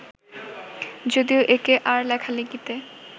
যদিও এঁকে আর লেখালেখিতে